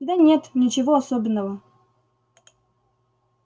да нет ничего особенного